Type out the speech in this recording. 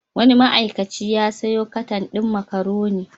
Wani ma'aikaci ya sayo katan din makaroni.